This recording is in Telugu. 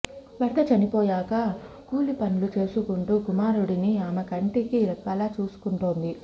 భర్త చనిపోయాక కూలి పనులు చేసుకుంటూ కుమారుడిని ఆమె కంటికి రెప్పలా చూసుకుంటోంది